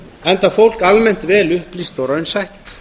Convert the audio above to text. enda fólk almennt vel upplýst og raunsætt